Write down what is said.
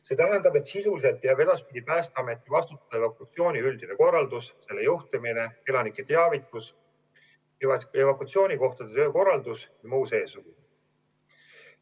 See tähendab, et sisuliselt jääb edaspidi Päästeameti vastutada evakuatsiooni üldine korraldus: selle juhtimine, elanike teavitus, evakuatsioonikohtade töökorraldus jms.